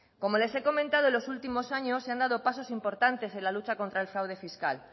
como les he comentado en los últimos años se han dado pasos importantes en lucha contra el fraude fiscal